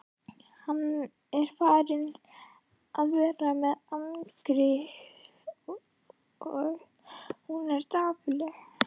Hann er farinn að vera með annarri, sagði hún dapurlega.